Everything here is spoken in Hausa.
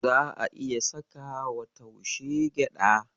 Za'a iya sakawa wa taushe gyaɗa.